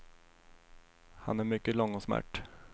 Han är mycket lång och smärt.